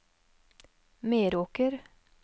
Meråker